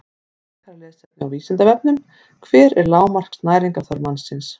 Frekara lesefni á Vísindavefnum: Hver er lágmarks næringarþörf mannsins?